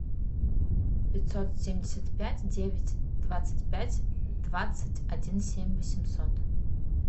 пятьсот семьдесят пять девять двадцать пять двадцать один семь восемьсот